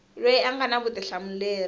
loyi a nga na vutihlamuleri